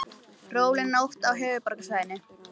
Róleg nótt á höfuðborgarsvæðinu